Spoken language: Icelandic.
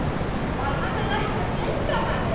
Var hann að lækna blinda manninn?